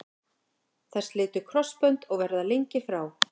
Þær slitu krossbönd og verða lengi frá.